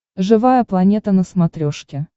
живая планета на смотрешке